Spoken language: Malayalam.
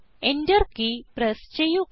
Enter കീ പ്രസ് ചെയ്യുക